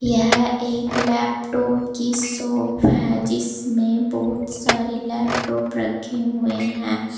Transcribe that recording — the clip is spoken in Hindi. यह एक लैपटॉप की शॉप है जिसमें बहुत सारे लैपटॉप रखे हुए हैं।